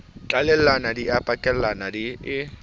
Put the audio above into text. tlalellana di a pakellana e